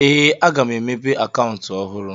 Ee, aga m emepe akaụntụ ọhụrụ